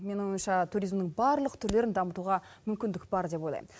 менің ойымша туризмнің барлық түрлерін дамытуға мүмкіндік бар деп ойлайм